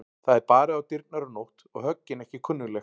Það er barið á dyrnar um nótt og höggin ekki kunnugleg.